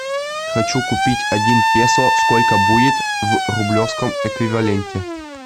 хочу купить один песо сколько будет в рублевском эквиваленте